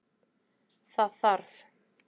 Það þarf